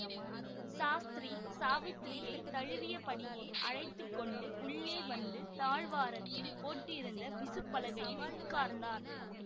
சாஸ்திரி சாவித்திரியைத் தழுவியபடியே அழைத்து கொண்டு உள்ளே வந்து தாழ்வாரத்தில் போட்டிருந்த விசுபலகையில் உட்கார்ந்தார்